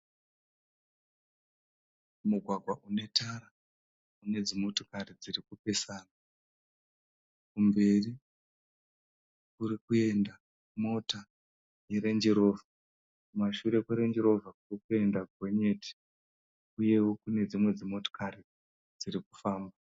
Mugwagwa unetara ne dzimotokari dzirikupesana. Kumberi kurikuenda mota yerendirovha. Kumashure kwerendirovha kurikuenda gonyeti. Uyewo kune dzimwe dzimotokari dzirikufamba.